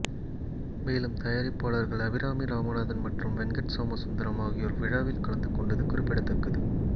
மேலும் தயாரிப்பாளர்கள் அபிராமி ராமநாதன் மற்றும் வெங்கட் சோமசுந்தரம் ஆகியோர் விழாவில் கலந்து கொண்டது குறிப்பிடத்தக்கது